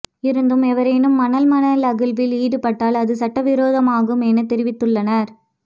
இருந்தும் எவரேனும் மணல் மணல் அகழ்வில் ஈடுப்பட்டால் அது சட்டவிரோதமாகும் எனத் தெரிவித்துள்ளனர்